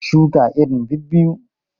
Shuka irin biyu biyu!